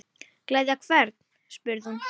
Gleðja hvern? spurði hún.